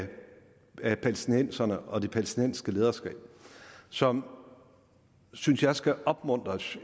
palæstinenserne og det palæstinensiske lederskab som synes jeg skal opmuntres